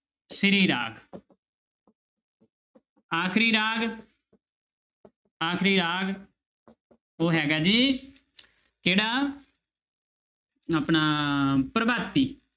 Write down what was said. ਸ੍ਰੀ ਰਾਗ ਆਖਰੀ ਰਾਗ ਆਖਰੀ ਰਾਗ ਉਹ ਹੈਗਾ ਜੀ ਕਿਹੜਾ ਆਪਣਾ ਪ੍ਰਭਾਤੀ।